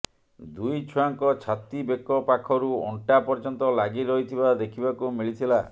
ଦୁଇଛୁଆଙ୍କ ଛାତି ବେକ ପାଖରୁ ଅଣ୍ଟା ପର୍ଯ୍ୟନ୍ତ ଲାଗି ରହିଥିବା ଦେଖିବାକୁ ମିଳିଥିଲା